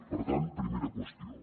per tant primera qüestió